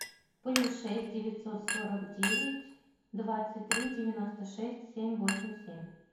плюс шесть девятьсот сорок девять двадцать три девяносто шесть семь восемь семь